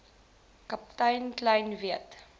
kaptein kleyn weet